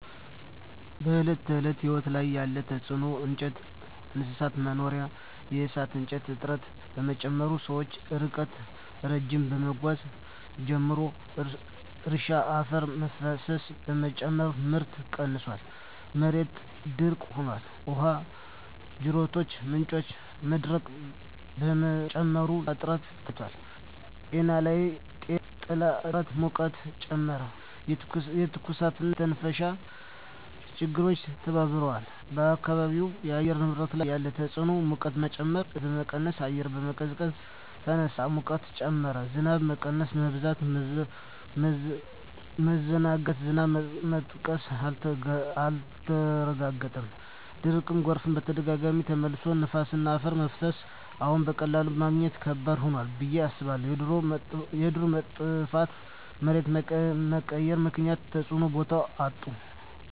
በዕለት ተዕለት ሕይወት ላይ ያለ ተጽዕኖ እንጨትና እንስሳት መኖሪያ የእሳት እንጨት እጥረት በመጨመር ሰዎች ርቀት ረዥም መጓዝ ጀመሩ። እርሻ አፈር መፍሰስ በመጨመር ምርት ቀንሷል፣ መሬት ደረቅ ሆኗል። ውሃ ጅረቶችና ምንጮች መድረቅ በመጨመር የውሃ እጥረት ታይቷል። ጤና ጥላ እጥረት ሙቀትን ጨመረ፣ የትኩሳትና የመተንፈሻ ችግሮች ተባብረዋል። በአካባቢው የአየር ንብረት ላይ ያለ ተጽዕኖ ሙቀት መጨመር እፅዋት በመቀነስ አየር መቀዝቀዝ ተነሳ፣ ሙቀት ጨመረ። ዝናብ መቀነስ/መበዛት መዘናጋት ዝናብ መጥቀስ አልተረጋገጠም፣ ድርቅና ጎርፍ በተደጋጋሚ ተመለሱ። ነፋስና አፈር መፍሰስ አዎን፣ በቀላሉ ማግኘት ከባድ ሆኗል ብዬ አስባለሁ። የዱር መጥፋትና መሬት መቀየር ምክንያት እፅዋት ቦታቸውን አጡ።